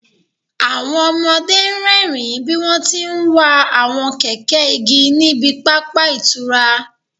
Àwọn ọmọdé ń rẹ́rìín bí wọ́n ti ń wa àwọn kẹ̀kẹ́ igi ní ibi pápá ìtura